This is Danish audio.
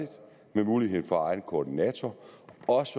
med mulighed for egen koordinator